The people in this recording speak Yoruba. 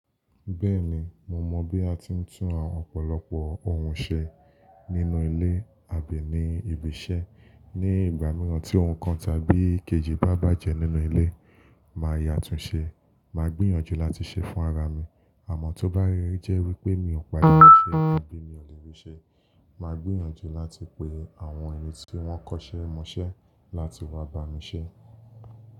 Bẹ́ẹ̀ni, mo mọ̀ bí a ti ń tún ọ̀pọ̀lọpọ̀ ohun ṣe nínú ilé àbí ní ibi iṣẹ́. Ni ìgbà mìíràn tí ohun kan tàbí kejì bá bàjẹ́ nínú ilé, màá yà tún un ṣe, màá gbìyànjú láti ṣe fún ara mi. Àmọ́ tó bá ríi jẹ́ wípé mi ò pada mọṣẹ́ àbí mi ò lè rí ṣẹ, màá gbìyànjú láti pe àwọn ènìyàn tí wón kọ́ṣẹ́ mọṣẹ́ láti wá bá mi ṣẹ́